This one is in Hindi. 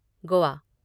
गोआ